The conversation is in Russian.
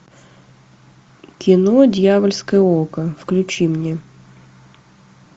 кино дьявольское око включи мне